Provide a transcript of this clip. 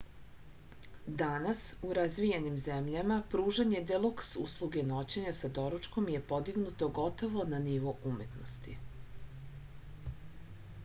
danas u razvijenim zemljama pružanje deluks usluge noćenja sa doručkom je podignuto gotovo na nivo umetnosti